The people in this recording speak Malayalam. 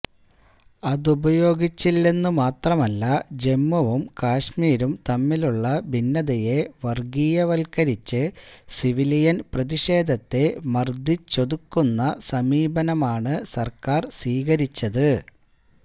അതുപയോഗിച്ചില്ലെന്നുമാത്രമല്ല ജമ്മുവും കശ്മീരും തമ്മിലുള്ള ഭിന്നതയെ വർഗീയവൽക്കരിച്ച് സിവിലിയൻ പ്രതിഷേധത്തെ മർദിച്ചൊതുക്കുന്ന സമീപനമാണ് സർക്കാർ സ്വീകരിച്ചത്